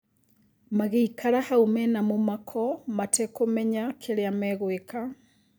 Magĩikara hau mena mũmako mĩtakũmenya kĩria magwĩka.